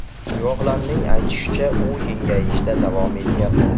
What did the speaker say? Guvohlarning aytishicha, u kengayishda davom etyapti.